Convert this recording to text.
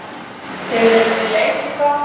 Þeir eru við leit í dag.